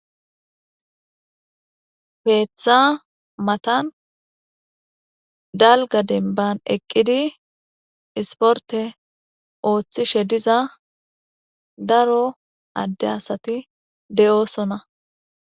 peeththa matan dalga denban eqqidi isporte ooththishe diza daro adde asati de7oosona